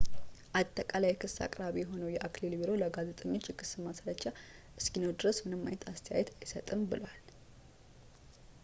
አጠቃላይ የክስ አቅራቢ የሆነው የአክሊል ቢሮ ለጋዜጠኞች የክስ ማስረጃ እስኪኖር ድረስ ምንም አይነት አስተያየት አይሰጥም ብሏል